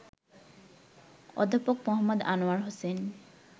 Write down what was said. অধ্যাপক মো. আনোয়ার হোসেন